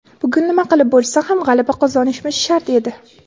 Bugun nima qilib bo‘lsa ham g‘alaba qozonishimiz shart edi.